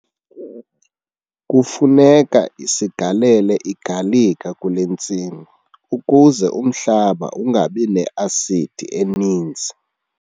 Kufuneka sigalele igalika kule ntsimi ukuze umhlaba ungabi ne-asidi eninzi.